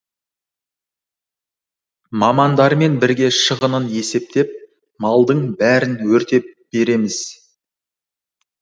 мамандармен бірге шығынын есептеп малдың бәрін өртеп береміз